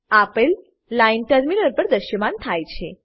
આપેલ line terminal પર દ્રશ્યમાન થાય છે